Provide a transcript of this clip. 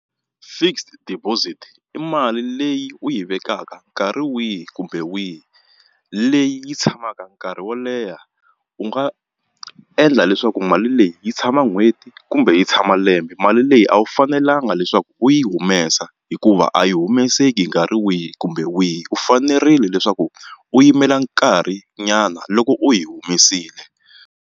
Fixed deposit i mali leyi u yi vekaka nkarhi wihi kumbe wihi leyi yi tshamaka nkarhi wo leha u nga endla leswaku mali leyi yi tshama n'hweti kumbe yi tshama lembe mali leyi a wu fanelanga leswaku u yi humesa hikuva a yi humeseki hi nkarhi wihi kumbe wihi u fanerile leswaku u yimela nkarhinyana loko u yi humesile.